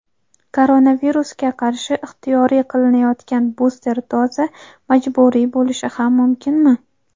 Koronavirusga qarshi ixtiyoriy qilinayotgan buster doza majburiy bo‘lishi ham mumkin(mi)?.